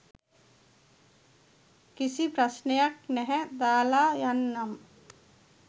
කිසි ප්‍රශ්නයක් නැහැ දාලා යන්නම්.